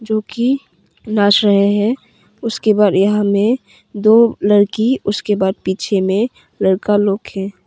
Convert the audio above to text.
जोकि नाच रहे हैं उसके बाद यहां में दो लड़की उसके बाद पीछे में लड़का लोग हैं।